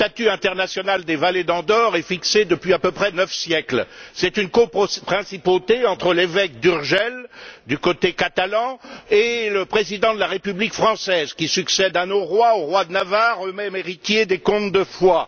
Le statut international des vallées d'Andorre est fixé depuis à peu près neuf siècles. C'est une coprincipauté entre l'évêque d'Urgell, du côté catalan, et le président de la République française, qui succède à nos rois de Navarre, eux mêmes héritiers des comtes de Foix.